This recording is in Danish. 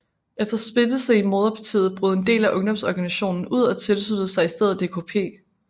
Efter splittelse i moderpartiet brød en del af ungdomsorganisationen ud og tilsluttede sig i stedet DKP